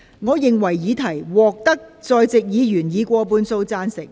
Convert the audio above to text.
我認為議題獲得在席議員以過半數贊成。